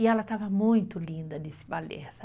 E ela estava muito linda nesse balé, sabe?